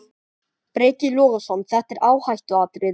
Breki Logason: Þetta er áhættuatriði?